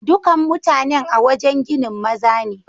Dukan mutanen a'wajen ginin maza ne.